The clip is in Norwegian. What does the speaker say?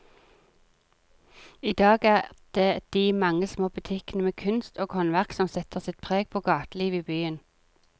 I dag er det de mange små butikkene med kunst og håndverk som setter sitt preg på gatelivet i byen.